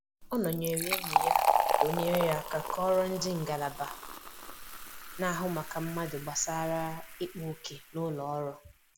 Ọ nọnyere enyi ya ka ọ nyere aka kọọrọ ndị ngalaba na-ahụ maka mmadụ gbasara ikpa òkè n'ụlọ ọrụ